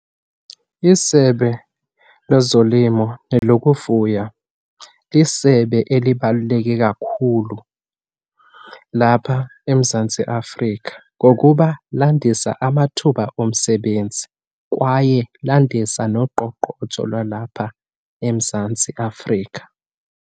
ISebe lezoLimo nelokufuya lisebe elibaluleke kakhulu lapha eMzantsi Afrika ngokuba landisa amathuba omsebenzi kwaye landisa noqoqotsho lwalapha eMzantsi Afrika.